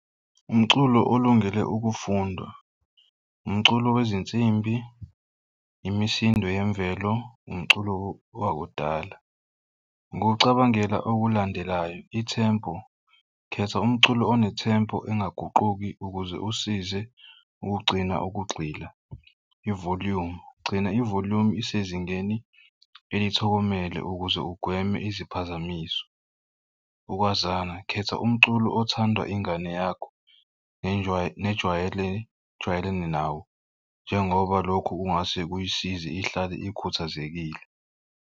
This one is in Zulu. Umculo olungele ukufundwa umculo wezinsimbi, imisindo yemvelo, umculo wakudala. Ukucabangela okulandelayo i-tempo, khetha umculo one-tempo engaguquki ukuze usize ukugcina ukugxila. I-volume gcina i-volume isezingeni elithokomele ukuze ugweme iziphazamiso. Ukwazana khetha umculo othandwa ingane yakho nejwalene nawo njengoba lokho kungase kuyisize ihlale ikhathazekile.